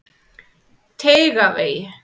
Teigavegi